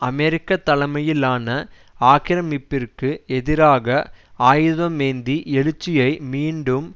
அமெரிக்க தலைமையிலான ஆக்கிரமிப்பிற்கு எதிராக ஆயுதமேந்தி எழுச்சியை மீண்டும்